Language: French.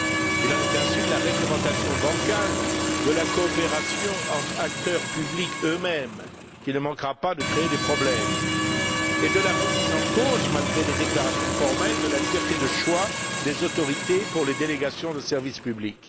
Il en est ainsi de la réglementation bancale de la coopération entre acteurs publics eux mêmes, qui ne manquera pas de créer des problèmes, et de la remise en cause, malgré les déclarations formelles, de la liberté de choix des autorités pour les délégations de service public.